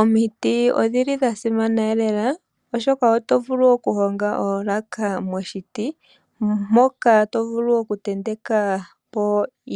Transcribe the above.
Omiti odhili odhasimana lela, oshoka oto vulu okuhonga oolaka momiti, mpoka tomvulu okutenteka po